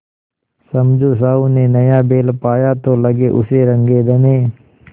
समझू साहु ने नया बैल पाया तो लगे उसे रगेदने